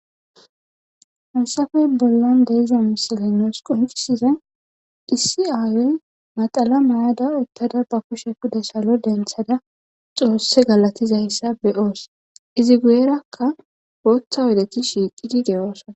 Haysafe bollan diza misiley nusu qoncisizay issi ayo naxala mayada utada kusha pude salo denthada xoose galatizaysa be'osi izi guyeraka bootha oydeti shiiqidi de'osona ,